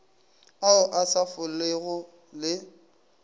ao a sa folego le